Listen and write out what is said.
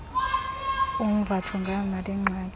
umva jongana nalengxaki